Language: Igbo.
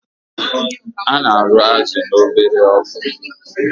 Ana arụ azụ na obele ọkụ